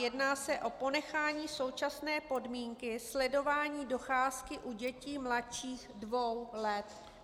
Jedná se o ponechání současné podmínky sledování docházky u dětí mladších dvou let.